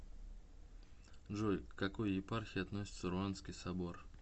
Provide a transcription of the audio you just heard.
джой к какой епархии относится руанский собор